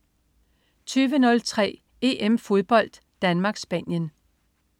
20.03 EM-fodbold: Danmark-Spanien